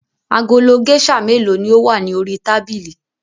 Agolo géíṣà mélòó ni ó wà ní orí tábìlì?